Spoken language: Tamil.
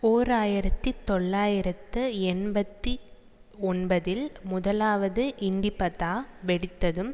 ஓர் ஆயிரத்தி தொள்ளாயிரத்து எண்பத்தி ஒன்பதில் முதலாவது இண்டிபதா வெடித்ததும்